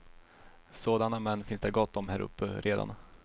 Sådana män finns det gott om häruppe redan.